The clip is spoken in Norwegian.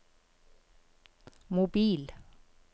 mobil